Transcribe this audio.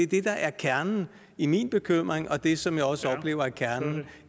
det der er kernen i min bekymring og det som jeg også oplever er kernen